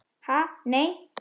Ha nei.